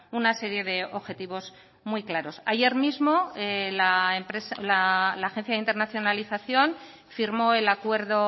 una serie de objetivos muy claros ayer mismo la agencia de internacionalización firmó el acuerdo